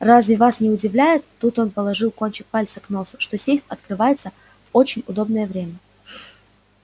разве вас не удивляет тут он положил кончик пальца к носу что сейф открывается в очень удобнее время